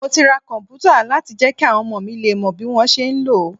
Mo ti ra komputa láti jẹ́ kí àwọn ọmọ mi lè mọ bí wọ́n ṣe ń lò ó.